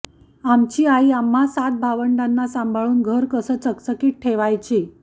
आमची आई आम्हां सात भावंडांना सांभाळून घर कसं चकचकीत ठेवायची